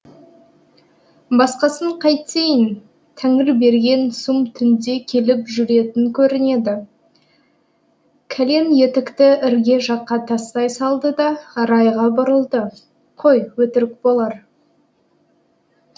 басқасын қайтейін тәңірберген сұм түнде келіп жүретін көрінеді кәлен етікті ірге жаққа тастай салды да арайға бұрылды қой өтірік болар